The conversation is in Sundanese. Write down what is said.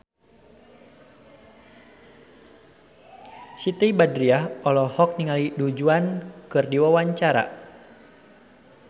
Siti Badriah olohok ningali Du Juan keur diwawancara